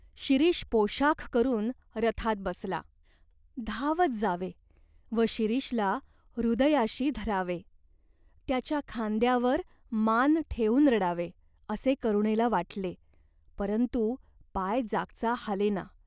शिरीष पोषाख करून रथात बसला. धावत जावे व शिरीषला हृदयाशी धरावे, त्याच्या खांद्यावर मान ठेवून रडावे, असे करुणेला वाटले परंतु पाय जागचा हालेना.